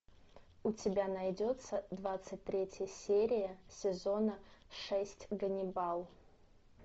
у тебя найдется двадцать третья серия сезона шесть ганнибал